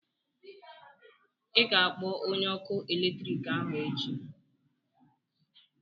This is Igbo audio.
ị ga-akpọ onye ọkụ eletrik ahụ echi?